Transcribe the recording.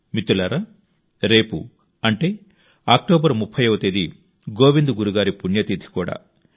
మిత్రులారా రేపు అంటే అక్టోబర్ 30వ తేదీ గోవింద్ గురు గారి పుణ్యతిథి కూడా